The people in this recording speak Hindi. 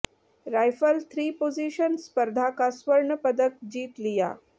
राइफल थ्री पोजिशन स्पर्धा का स्वर्ण पदक जीत लिया